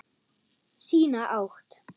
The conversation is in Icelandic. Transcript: Sína átt.